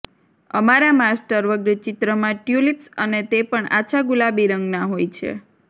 અમારા માસ્ટર વર્ગ ચિત્રમાં ટ્યૂલિપ્સ અને તે પણ આછા ગુલાબી રંગના હોય છે